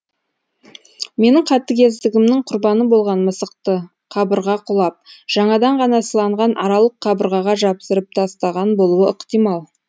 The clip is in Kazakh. менің қатыгездігімнің құрбаны болған мысықты қабырға құлап жаңадан ғана сыланған аралық қабырғаға жапсырып тастаған болуы ықтимал